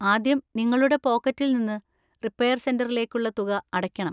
ആദ്യം നിങ്ങളുടെ പോക്കറ്റിൽ നിന്ന് റിപ്പയർ സെന്‍ററിലേക്കുള്ള തുക അടയ്ക്കണം.